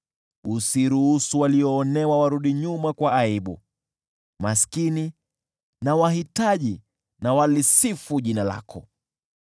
Usiruhusu walioonewa warudi nyuma kwa aibu; maskini na wahitaji hebu walisifu jina lako.